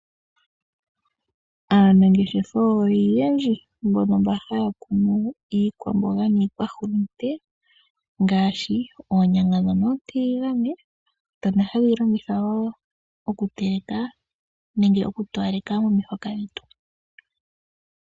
Aanangeshefa oyendji mbono mba haya kunu iikwamboga niihulunde ngaashi: oonyanga ootiligane dhono hadhi longithwa oku towaleka omihoka dhetu.